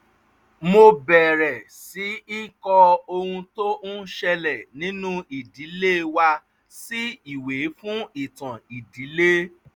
mo bẹ̀rẹ̀ sí í kọ ohun tó ń ṣẹlẹ̀ nínú ìdílé wa sí ìwé fún ìtàn ìdílé